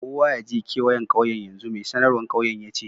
Kowa ya je keweyen ƙauyen yanzu! Mai sanarwan ƙauyen ya ce.